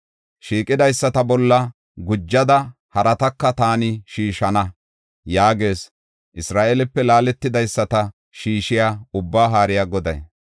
“Shiqidaysata bolla gujada harataka taani shiishana” yaagees Isra7eelepe laaletidaysata shiishiya, Ubbaa Haariya Goday.